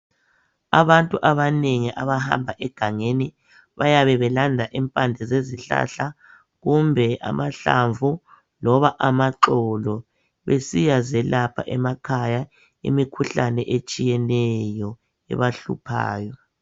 abantu abanengi abahamba egangeni bayabe belanda impande zezihlahla kumbe amahlamvu loba amaxolo besiya zelapha emakhaya imikhuhlane etshiyeneyo ebahluphayo